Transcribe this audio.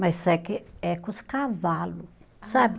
Mas se é que, é com os cavalos, sabe?